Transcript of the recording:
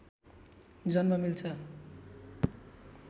जन्म लिन्छ